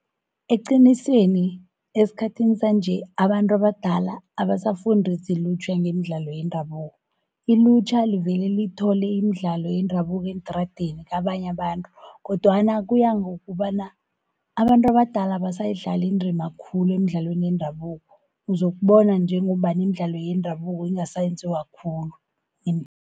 Eqinisweni esikhathini sanje abantu abadala abasafundisi ilutjha ngemidlalo yendabuko. Ilutjha livele lithole imidlalo yendabuko eentradeni kabanye abantu, kodwana kuya ngokobana abantu abadala abasayidlali indima khulu emidlalweni yendabuko. Uzokubona njengombana imidlalo yendabuko ingasenziwa khulu.